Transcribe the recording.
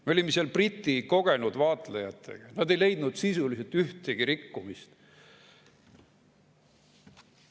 Me olime seal Briti kogenud vaatlejatega, nad ei leidnud sisuliselt ühtegi rikkumist.